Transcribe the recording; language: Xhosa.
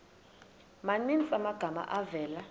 maninzi amagama avela